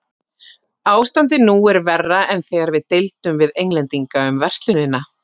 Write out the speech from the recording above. Ástandið nú er verra en þegar við deildum við Englendinga um verslunina.